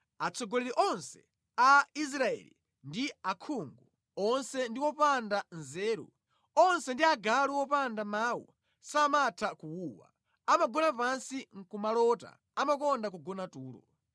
Atsogoleri onse a Israeli ndi akhungu, onse ndi opanda nzeru; onse ndi agalu opanda mawu, samatha kuwuwa: amagona pansi nʼkumalota amakonda kugona tulo.